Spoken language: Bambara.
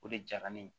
O de jara ne ye